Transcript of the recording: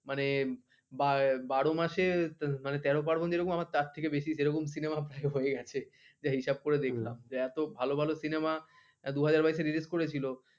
মানে বারো মাসে তেরো পার্বণ যেরকম আমার তার থেকে বেশি যেরকম Cinema হয়ে গেছে সে হিসাব করে দেখলাম যে এত ভালো ভালো cinema দুই হাজার বাইয়েসে Release করেছিল ।